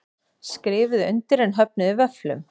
Skrifuðu undir en höfnuðu vöfflum